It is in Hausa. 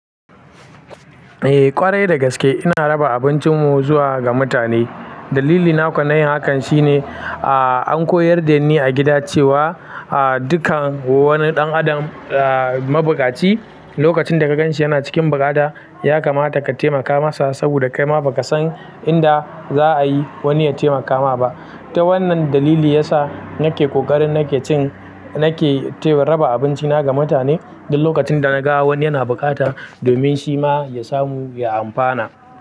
Eh ƙwarai dagaske ina raba abincin mu zuwa ga mutane. Dalili na kuwa na yin hakan shine, an koyar da ni a gida cewa dukkan wani ɗan adam mabuƙaci, lokacin da ka ganshi yana cikin buƙata ya kamata ka taimaka masa saboda kai ma ba ka san inda za a yi wani ya taimaka ma ba. Ta wannan dalili ya sa nake ƙokarin nake cin nake raba abinci na ga mutane duk lokacin da na ga wani yana buƙata domin shi ma ya samu ya amfana.